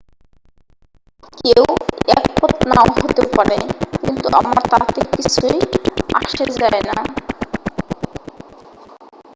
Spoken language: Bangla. """কেউ একমত নাও হতে পারে কিন্তু আমার তাতে কিছু যাই আসে না""।